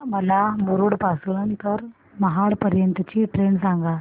मला मुरुड पासून तर महाड पर्यंत ची ट्रेन सांगा